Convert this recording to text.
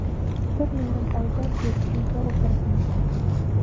Bir yarim oydan beri uyda o‘tiribmiz.